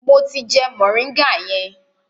Mo ti jẹ moringa yẹn.